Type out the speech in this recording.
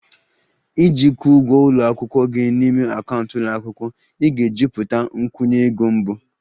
Iji kwụọ ụgwọ ụlọ akwụkwọ gị n'ime akaụntụ ụlọ akwụkwọ, ị ga-ejupụta nkwụnye ego mbụ